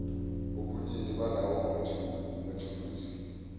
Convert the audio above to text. ubunini balawo mathuluzi